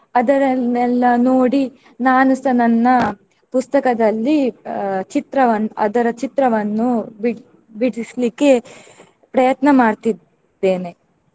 ಅದರನ್ನೆಲ್ಲ ನೋಡಿ ನಾನುಸ ನನ್ನ ಪುಸ್ತಕದಲ್ಲಿ ಅಹ್ ಚಿತ್ರವನ್ನ್~ ಅದರ ಚಿತ್ರವನ್ನು ಬಿಡ್~ ಬಿಡಿಸ್ಲಿಕ್ಕೆ ಪ್ರಯತ್ನ ಮಾಡ್ತಿದ್ದೇನೆ.